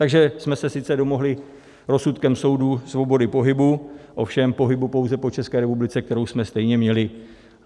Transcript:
Takže jsme se sice domohli rozsudkem soudu svobody pohybu, ovšem pohybu pouze po České republice, kterou jsme stejně měli.